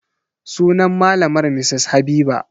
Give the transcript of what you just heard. Sunan malamar Mrs Habiba.